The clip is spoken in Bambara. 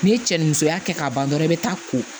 N'i ye cɛ ni musoya kɛ k'a ban dɔrɔn i bɛ taa ko